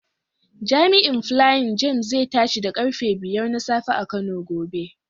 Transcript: Jami'in Flying James zai tashi da karfe 5 na safe a Kano gobe.